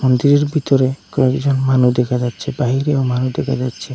রোদের ভিতরে কয়েকজন মানু দেখা যাচ্ছে বাহিরেও মানু দেখা যাচ্ছে।